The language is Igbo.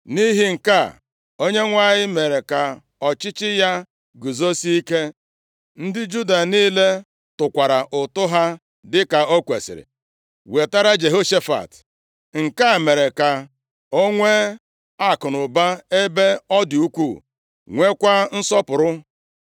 Nʼihi nke a Onyenwe anyị mere ka ọchịchị ya guzosie ike. Ndị Juda niile tụkwara ụtụ ha dịka o kwesiri wetara Jehoshafat, nke a mere ka o nwee akụnụba ebe ọ dị ukwuu, nwekwa nsọpụrụ.